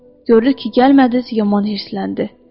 Görür ki, gəlmədiz, yaman hirsləndi.